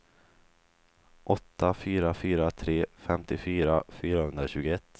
åtta fyra fyra tre femtiofyra fyrahundratjugoett